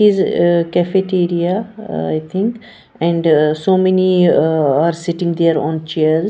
is uh cafeteria i think and so many uh are sitting there on chairs.